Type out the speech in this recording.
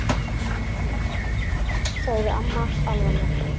Guðbjörg, sagði amma alvarleg.